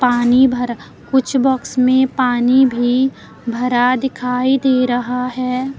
पानी भरा कुछ बॉक्स में पानी भी भरा दिखाई दे रहा है।